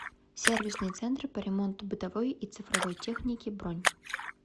сервисный центр по ремонту бытовой и цифровой техники бронь